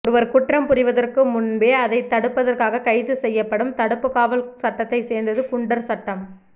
ஒருவர் குற்றம் புரிவதற்கு முன்பே அதைத் தடுப்பதற்காக கைது செய்யப்படும் தடுப்புக்காவல் சட்டத்தைச் சேர்ந்தது குண்டர் சட்டம்